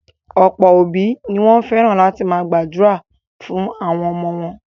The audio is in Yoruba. Ọ̀pọ̀ òbí ni wọ́n fẹ́ràn láti máa gbàdúrà fún àwọn ọmọ wọn.